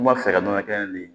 N kun b'a fɛ ka nɔnɔ kɛnɛ min